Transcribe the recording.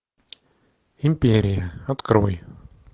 империя открой